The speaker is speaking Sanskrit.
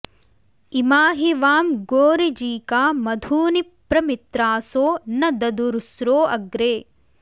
इमा हि वां गोऋजीका मधूनि प्र मित्रासो न ददुरुस्रो अग्रे